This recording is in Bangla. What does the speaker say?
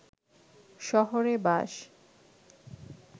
শহরে বাস